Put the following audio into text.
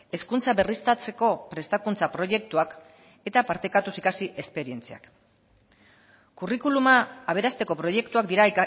hezkuntza berriztatzeko prestakuntza proiektuak eta partekatuz ikasi esperientziak curriculuma aberasteko proiektuak dira